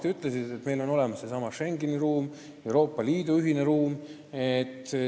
Te viitasite, et meil on olemas Schengeni ruum, Euroopa Liidu ühine ruum.